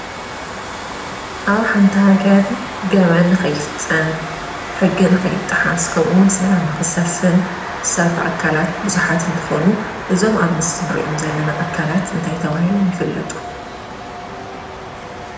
ኣብ ሓንቲ ሃገር ገበን ንኸይፍፀም፣ ሕጊ ንኸይጥሓስ ከምኡ እውን ሰላም ንኽሰፍን ዝሰርሑ ኣካልት ብዙሓት እንትኾኑ እዞም ኣብ ምስሊ እንሪኦም ዘለና ኣካላት እንታይ ተባሂሎም ይፍለጡ?